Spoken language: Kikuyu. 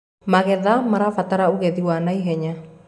magetha marabatara ugethi wa naihenya